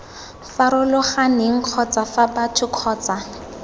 farologaneng kgotsa fa batho kgotsa